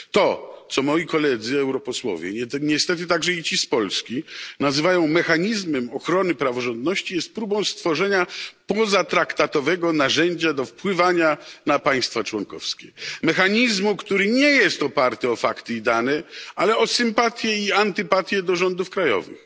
To, co moi koledzy europosłowie, niestety także i ci z Polski, nazywają mechanizmem ochrony praworządności, jest próbą stworzenia pozatraktatowego narzędzia do wpływania na państwa członkowskie, mechanizmu, który nie jest oparty o fakty i dane, ale o sympatie i antypatie do rządów krajowych.